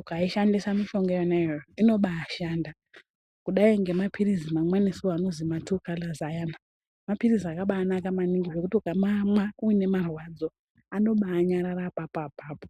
ukaishandisa mishonga yona iyoyo inobashanda kudai ngemaphirizi mamweniso anozi matuu kalazi ayana maphirizi akabanaka maningi ekuti ukamamwa uine marwadzo anobanyarara apo apapo.